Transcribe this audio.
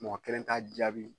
Mɔgɔ kelen t'a jaabi